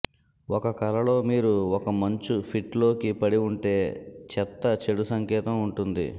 ఒక కలలో మీరు ఒక మంచు పిట్ లోకి పడి ఉంటే చెత్త చెడు సంకేతం ఉంటుంది